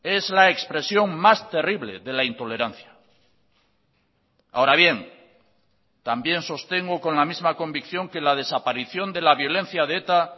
es la expresión más terrible de la intolerancia ahora bien también sostengo con la misma convicción que la desaparición de la violencia de eta